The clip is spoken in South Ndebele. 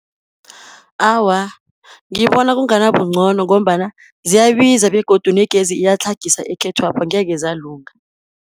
Awa ngibona kungabingcono, ngombana ziyabiza, begodu negezi iyatlhagaisa ekhethwapha angeze zalunga.